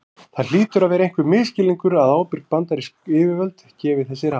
Það hlýtur að vera einhver misskilningur að ábyrg bandarísk yfirvöld gefi þessi ráð.